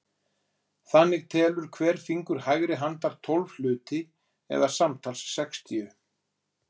Þannig telur hver fingur hægri handar tólf hluti eða samtals sextíu.